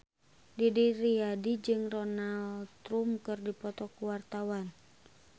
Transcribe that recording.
Didi Riyadi jeung Donald Trump keur dipoto ku wartawan